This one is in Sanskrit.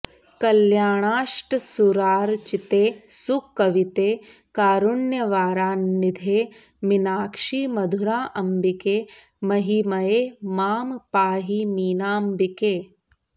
कल्याणाष्टसुरार्चिते सुकविते कारुण्यवारान्निधे मीनाक्षि मधुराम्बिके महिमये मां पाहि मीनाम्बिके